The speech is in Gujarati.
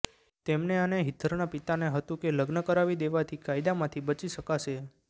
તેમને અને હિધરના પિતાને હતું કે લગ્ન કરાવી દેવાથી કાયદામાંથી બચી શકાશે